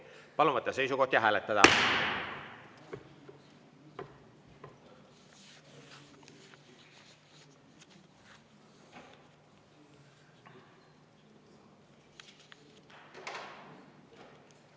Palun võtta seisukoht ja hääletada!